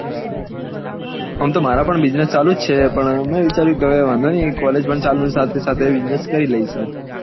આમ તો મારો પણ businesses ચાલુ છે પણ મેં વિચાર્યું કે વાંધો નહિ college પણ ચાલુ ને સાથે સાથે businesses કરી લઈશું